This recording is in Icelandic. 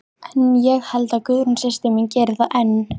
En ég held að Guðrún systir mín geri það enn.